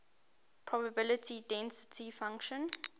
probability density function